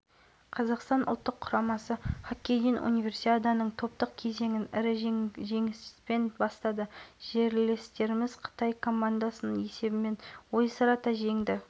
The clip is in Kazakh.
материалдары бар конверттерді ашқан соң байқаудың қазылар алқасы жобаның үздік нобай-идеясын іріктейтін болады жеңімпаздард онлайн-дауыс берудің